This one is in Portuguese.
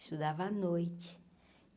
Estudava à noite.